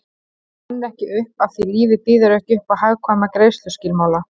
Hún rann ekki upp afþví lífið býður ekki uppá hagkvæma greiðsluskilmála